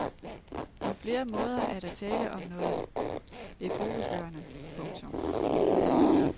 På flere måder er der tale om noget epokegørende. punktum